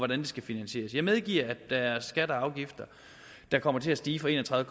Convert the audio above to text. det skal finansieres jeg medgiver at der er skatter og afgifter der kommer til at stige fra en og tredive